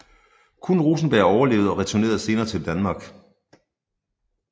Kun Rosenberg overlevede og returnerede senere til Danmark